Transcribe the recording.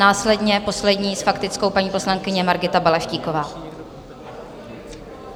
Následně poslední s faktickou, paní poslankyně Markéta Balaštíková.